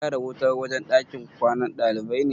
An gyara wutan wajan kwanan ɗalibai ne?